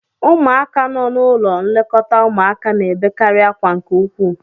Ụmụaka nọ n'ụlọ nlekọta ụmụaka na-ebekarị akwa nke ukwu